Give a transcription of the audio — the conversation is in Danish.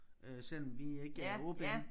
Øh selvom vi ikke er ordblinde